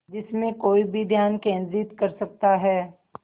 जिसमें कोई भी ध्यान केंद्रित कर सकता है